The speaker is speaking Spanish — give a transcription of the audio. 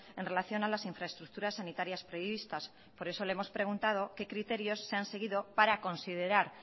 en relación a las infraestructuras sanitarias previstas por eso le hemos preguntado qué criterios se han seguido para considerar